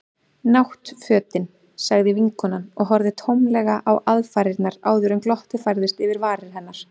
Náttfötin. sagði vinkonan og horfði tómlega á aðfarirnar áður en glottið færðist yfir varir hennar.